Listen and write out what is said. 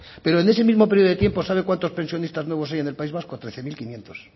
pero en ese mismo período de tiempo sabe cuántos pensionistas nuevos hay en el país vasco trece mil quinientos